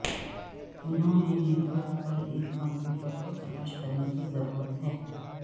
انہوں نے network پر ایک کمپیوٹر کو تلاش کرنے کی ضرورت ہے